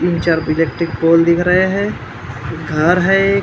तीन चार electric pole दिख रहे है घर है।